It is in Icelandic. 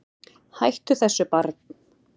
Hættu þessu barn!